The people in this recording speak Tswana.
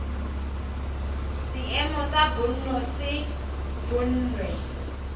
seemo sa bonno se bonwe